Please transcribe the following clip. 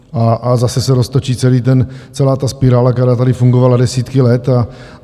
A zase se roztočí celá ta spirála, která tady fungovala desítky let.